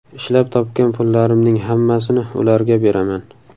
Ishlab topgan pullarimning hammasini ularga beraman”.